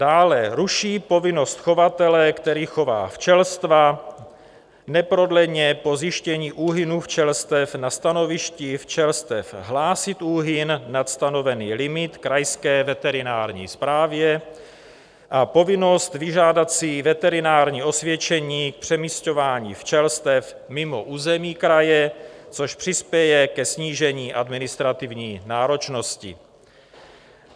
Dále ruší povinnost chovatele, který chová včelstva, neprodleně po zjištění úhynu včelstev na stanovišti včelstev hlásit úhyn nad stanovený limit krajské veterinární správě a povinnost vyžádat si veterinární osvědčení k přemisťování včelstev mimo území kraje, což přispěje ke snížení administrativní náročnosti.